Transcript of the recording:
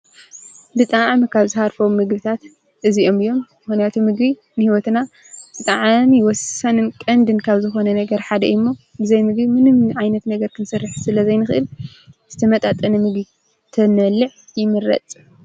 ብጥዓ መካብ ዝሃርፈ ምግብታት እዚኦምዮም ኅንያቱ ምጊ ንሕይወትና ዝጠዓም ይወሳንን ቀን ድንካብ ዝኾነ ነገር ሓደ ዩ እሞ ብዘይ ምግ ምንም ዓይነት ነገር ክንሠርሕ ስለ ዘይንኽእል ዝተመጣጠነ ምግ ተነልዕ ይምረጽ